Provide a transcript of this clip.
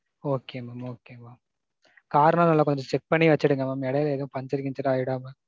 Okay mam okay mam. car லாம் நல்லா கொஞ்ச check பண்ணி வச்சிருங்க mam இடையில எதுவும் பஞ்சர் கிஞ்சர் ஆயிடாம.